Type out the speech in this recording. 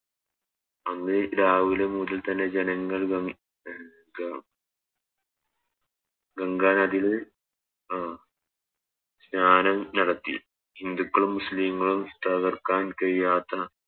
അന്ന് രാവിലെ മുതൽ തന്നെ ജനങ്ങൾ വ അഹ് ഗ ഗംഗ നദിയിൽ അഹ് സ്നാനം നടത്തി ഹിന്ദുക്കളും മുസ്ലിങ്ങളും തകർക്കാൻ കഴിയാത്ത